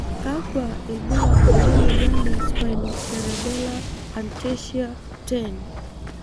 Kakwa ibulabul le moyian e Spinocerebellar ataxia 10?